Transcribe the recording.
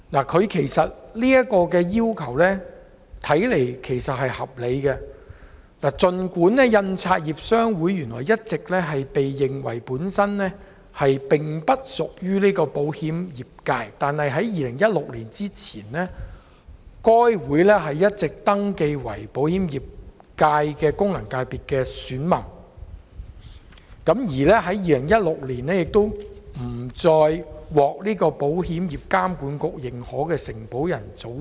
他這個要求看來是合理的，香港印刷業商會原來一直被認為不屬於保險業界，但在2016年前，該商會一直登記為保險業界的功能界別選民，但2016年不再獲保險業監管局認可為承保人組織。